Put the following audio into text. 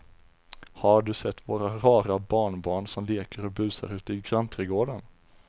Har du sett våra rara barnbarn som leker och busar ute i grannträdgården!